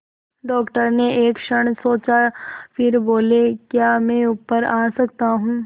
doctor ने एक क्षण सोचा फिर बोले क्या मैं ऊपर आ सकता हूँ